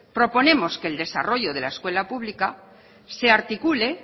proponemos que el desarrollo de la escuela pública se articule